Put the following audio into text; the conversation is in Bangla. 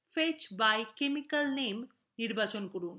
fetch by chemical name নির্বাচন করুন